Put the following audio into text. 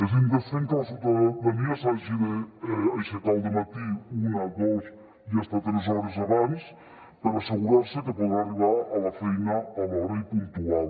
és indecent que la ciutadania s’hagi d’aixecar al dematí una dos i fins a tres hores abans per assegurar se que podrà arribar a la feina a l’hora i puntual